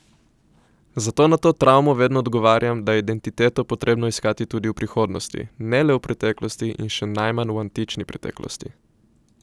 Zato na to travmo vedno odgovarjam, da je identiteto potrebno iskati tudi v prihodnosti, ne le v preteklosti in še najmanj v antični preteklosti.